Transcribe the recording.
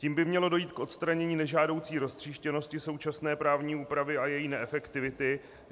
Tím by mělo dojít k odstranění nežádoucí roztříštěnosti současné právní úpravy a její neefektivity.